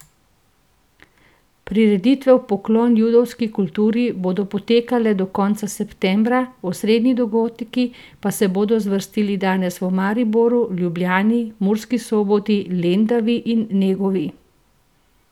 Prireditve v poklon judovski kulturi bodo potekale do konca septembra, osrednji dogodki pa se bodo zvrstili danes v Mariboru, Ljubljani, Murski Soboti, Lendavi in Negovi.